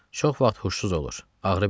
Çox vaxt huşsuz olur, ağrı bilmirdi.